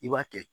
I b'a kɛ